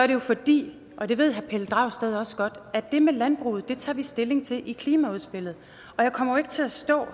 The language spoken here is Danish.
det jo fordi og det ved herre pelle dragsted også godt det med landbruget tager vi stilling til i klimaudspillet og jeg kommer ikke til at stå